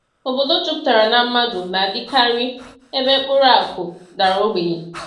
Obodo jupụtara na mmadụ na-adịkarị ebe mkpụrụ akụ dara ogbenye.